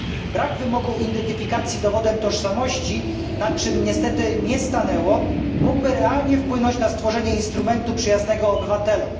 Brak wymogu identyfikacji dowodem tożsamości, na czym niestety nie stanęło, mógłby realnie wpłynąć na stworzenie instrumentu przyjaznego obywatelom.